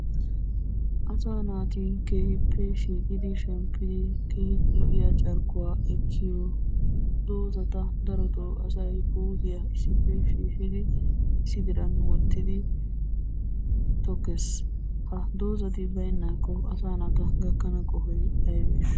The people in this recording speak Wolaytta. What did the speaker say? Asa naati keehippe shiiqidi shemppidi keehi lo"iya carkkuwa ekkiyo doozara daroto asay issippe shiishshidi issi diran wottidi tokkees. Ha doozati baynnakko asaa naata gakkana qohoy aybbesha?